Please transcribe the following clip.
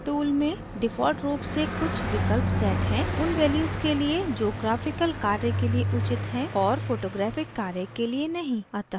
rotate tool में default रूप से कुछ विकल्प set हैं उन values के लिए जो graphical कार्य के लिए उचित हैं और photographic कार्य के लिए नहीं